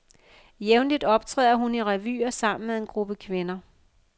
Jævnligt optræder hun i revyer sammen med en gruppe kvinder.